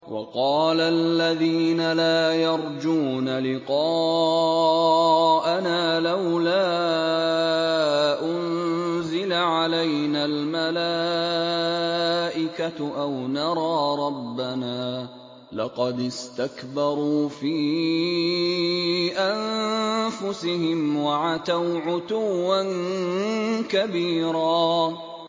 ۞ وَقَالَ الَّذِينَ لَا يَرْجُونَ لِقَاءَنَا لَوْلَا أُنزِلَ عَلَيْنَا الْمَلَائِكَةُ أَوْ نَرَىٰ رَبَّنَا ۗ لَقَدِ اسْتَكْبَرُوا فِي أَنفُسِهِمْ وَعَتَوْا عُتُوًّا كَبِيرًا